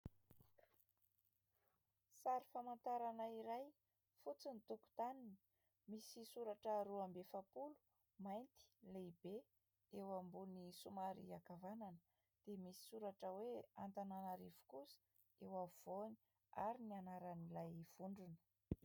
Sary famantarana iray, fotsy ny tokotaniny misy soratra roa amby efa-polo mainty lehibe eo ambony somary ankavanana dia misy soratra hoe Antananarivo kosa eo afovoany ary ny anaran'ilay vondrona.